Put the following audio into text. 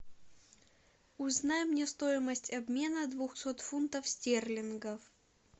узнай мне стоимость обмена двухсот фунтов стерлингов